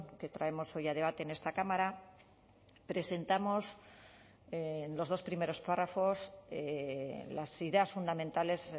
que traemos hoy a debate en esta cámara presentamos en los dos primeros párrafos las ideas fundamentales